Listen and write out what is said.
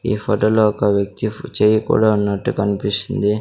ఈ ఫోటో లో ఒక వ్యక్తి చెయ్యి కూడా ఉన్నట్టు కన్పిస్తుంది.